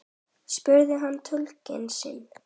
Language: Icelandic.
spurði hann túlkinn sinn.